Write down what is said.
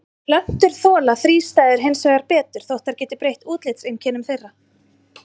Plöntur þola þrístæður hins vegar betur þótt þær geti breytt útlitseinkennum þeirra.